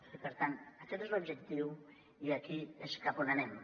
i per tant aquest és l’objectiu i aquí és cap a on anem